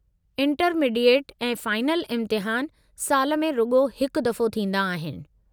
Intermediate ऐं final इम्तिहान साल में रुॻो हिकु दफ़ो थींदा आहिनि।